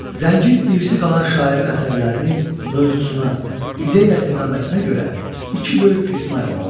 Zəngin irsi qalan şairin əsərlərini mövzusuna, ideya istiqamətinə görə iki böyük qismə ayırmaq olar.